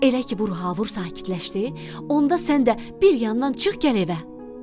Elə ki vurha vur sakitləşdi, onda sən də bir yandan çıx gəl evə.